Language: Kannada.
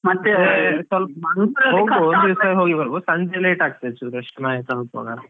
ಒಂದ್ ದಿವಸ ಹೋಗಿ ಬರ್ಬೋದು ಸಂಜೆ late ಆಗ್ತದೆ ಚುರ್ ಅಷ್ಟೇ ಮನೆಗೆ ತಲಪುವಾಗ.